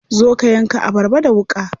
Zo ka yanka abarba da wuƙa.